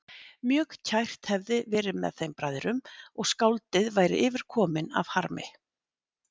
Mjög kært hefði verið með þeim bræðrum og skáldið væri yfirkominn af harmi.